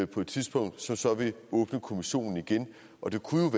på et tidspunkt som så vil åbne kommissionen igen og det kunne